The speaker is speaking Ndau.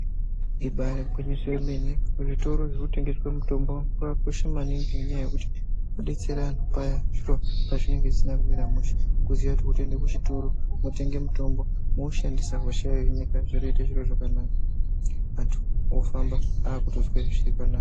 Ibaari gwinyiso yemene, kuzvitoro zvirikutengeswe mitombo kwakakosha maningi ngenyaya yekuti kudetsera antu paya pazvinenge zvisina kumira mushe kuziya kuti wotoende kuzvitoro mwotenge mutombo, mwoushandisa, hosha yohinika, zvotoite zviro zvakanaka antu ofamba akutozwe zvakanaka.